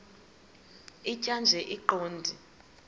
tjhaya nje iqondee